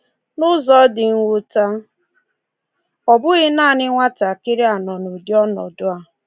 N’ụzọ dị mwute, ọ bụghị naanị nwatakịrị a nọ n’ụdị ọnọdụ a.